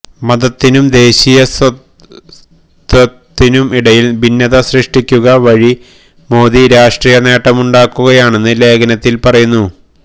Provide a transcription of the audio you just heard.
മതത്തിനും ദേശീയ സ്വത്വത്തിനും ഇടയിൽ ഭിന്നത സൃഷ്ടിക്കുക വഴി മോദി രാഷ്ട്രീയ നേട്ടമുണ്ടാക്കുകയാണെന്ന് ലേഖനത്തിൽ പറയുന്നു